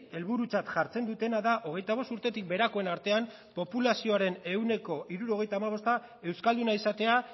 helburutzat jartzen dutena da hogeita bost urtetik beherakoen artean populazioaren ehuneko hirurogeita hamabosta euskalduna izatea